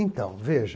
Então, veja,